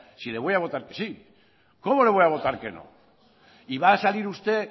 si le voy a votar que sí cómo le voy a votar que no y va a salir usted